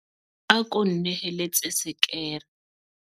ako nneheletse sekere